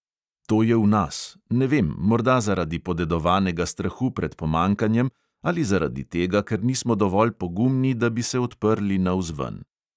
To je v nas, ne vem, morda zaradi podedovanega strahu pred pomanjkanjem ali zaradi tega, ker nismo dovolj pogumni, da bi se odprli navzven.